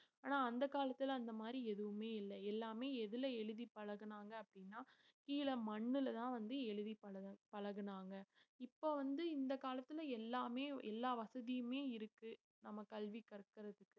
ஆனா அந்த காலத்துல அந்த மாதிரி எதுவுமே இல்லை எல்லாமே எதுல எழுதி பழகனாங்க அப்படின்னா கீழே மண்ணுலதான் வந்து எழுதி பழ~ பழகனாங்க. இப்ப வந்து இந்த காலத்துல எல்லாமே எல்லா வசதியுமே இருக்கு நம்ம கல்வி கற்பதற்கு